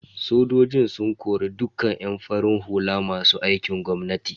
Sojojin sun kori dukka yan farin hula masu aikin gwamnati.